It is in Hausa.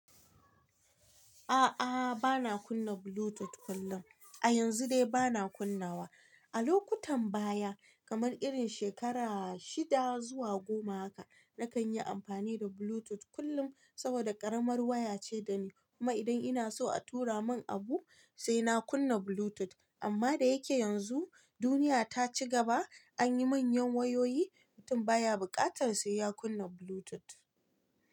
A'aa, bana kunna Bluetooth kullum. A yanzu dai bana kunnawa. A lokutan baya, kamar irin shekara shida zuwa goma haka, na kan yi amfani da Bluetooth kullum saboda ƙaramar waya ce dani. Kuma idan ina so a tura mun abu, sai na kunna Bluetooth. Amma da yake yanzu duniya ta ci gaba, an yi manyan wayoyi, mutum baya bukatar sai ya kunna Bluetooth.